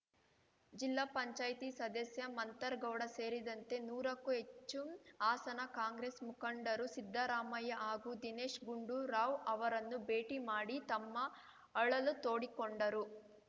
ಜಿಲ್ಲಾ ಪಂಚಾಯ್ತಿ ಸದಸ್ಯ ಮಂಥರ್‌ಗೌಡ ಸೇರಿದಂತೆ ನೂರಕ್ಕೂ ಹೆಚ್ಚು ಹಾಸನ ಕಾಂಗ್ರೆಸ್‌ ಮುಖಂಡರು ಸಿದ್ದರಾಮಯ್ಯ ಹಾಗೂ ದಿನೇಶ್‌ ಗುಂಡೂರಾವ್‌ ಅವರನ್ನು ಭೇಟಿ ಮಾಡಿ ತಮ್ಮ ಅಳಲು ತೋಡಿಕೊಂಡರು